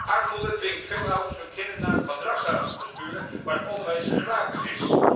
Armoede dwingt veel ouders hun kinderen naar madrassa's te sturen, waar het onderwijs gratis is.